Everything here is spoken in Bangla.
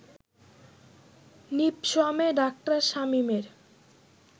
নিপসমে ডা. শামীমের